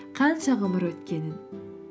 қанша ғұмыр өткенін